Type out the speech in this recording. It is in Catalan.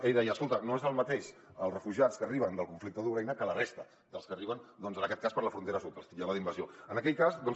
ell deia escolta no són el mateix els refugiats que arriben del conflicte d’ucraïna que la resta que els que arriben doncs en aquest cas per la frontera sud els titllava d’invasió en aquest cas